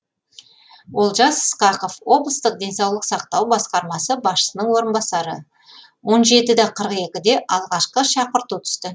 олжас ысқақов облыстық денсаулық сақтау басқармасы басшысының орынбасары он жеті де қырық екіде алғашқы шақырту түсті